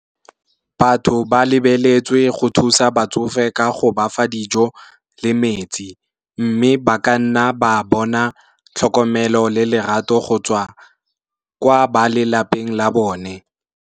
Batho ba lebeletswe go thusa batsofe ka go bafa dijo le metsi, mme ba ka nna ba bona tlhokomelo le lerato go tswa kwa ba lelapeng la bone.